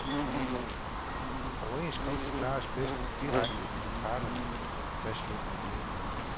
Overenskomster klares bedst direkte mellem parterne, fastslog man i enighed.